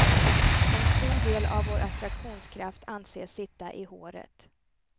En stor del av vår attraktionskraft anses sitta i håret.